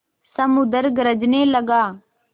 समुद्र गरजने लगा